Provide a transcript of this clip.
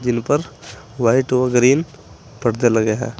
जिन पर वाइट और ग्रीन पर्दे लगे हैं।